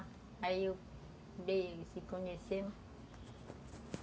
Aí eu, se conhecemos.